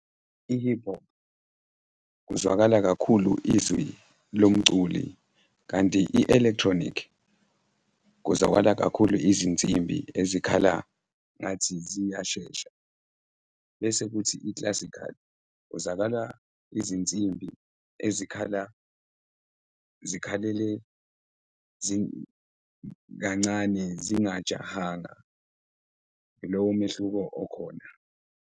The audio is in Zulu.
I-hip hop kuzwakala kakhulu izwi lomculi kanti i-electronic kuzwakala kakhulu izinsimbi ezikhala ngathi ziyashesha bese kuthi i-classical kuzwakala izinsimbi ezikhala zikhalele kancane, zingajahanga, ilowo mehluko okhona.